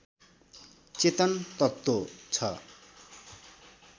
चेतन तत्त्व छ